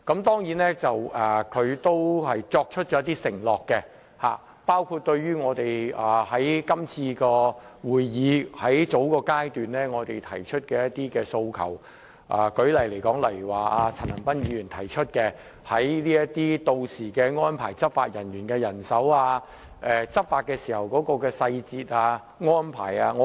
她許下了一些承諾，應對我們在這次會議較早時提出的一些訴求，例如陳恒鑌議員提及的執法人員人手和執法細節安排等。